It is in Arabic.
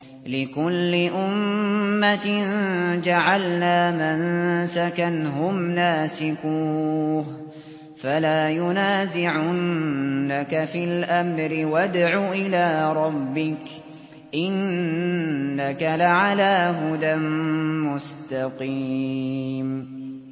لِّكُلِّ أُمَّةٍ جَعَلْنَا مَنسَكًا هُمْ نَاسِكُوهُ ۖ فَلَا يُنَازِعُنَّكَ فِي الْأَمْرِ ۚ وَادْعُ إِلَىٰ رَبِّكَ ۖ إِنَّكَ لَعَلَىٰ هُدًى مُّسْتَقِيمٍ